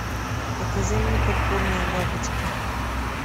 покажи мне пурпурная бабочка